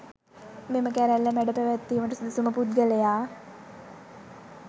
මෙම කැරැල්ල මැඩ පැවැත්වීමට සුදුසුම පුද්ගලයා